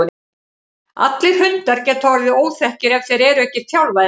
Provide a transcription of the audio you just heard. Allir hundar geta orðið óþekkir ef þeir eru ekki þjálfaðir rétt.